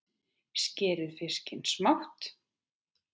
Skerið fiskinn smátt.